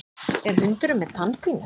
Er hundurinn með tannpínu?